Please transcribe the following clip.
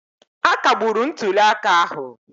Akagburu ntuli aka ahụ.